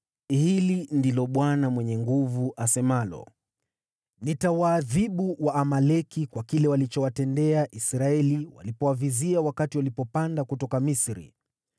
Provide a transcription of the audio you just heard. Hili ndilo Bwana Mwenye Nguvu Zote asemalo: ‘Nitawaadhibu Waamaleki kwa kile walichowatendea Israeli walipowavizia wakati walipanda kutoka Misri.